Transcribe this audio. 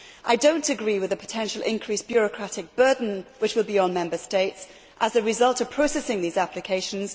I do not agree with the potential increased bureaucratic burden which will be placed on Member States as a result of processing these applications.